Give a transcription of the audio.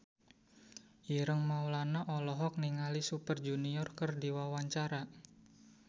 Ireng Maulana olohok ningali Super Junior keur diwawancara